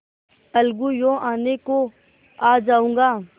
अलगूयों आने को आ जाऊँगा